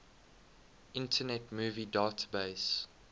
internet movie database